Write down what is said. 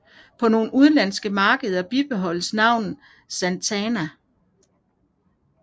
På nogle udenlandske markeder bibeholdtes navnet Santana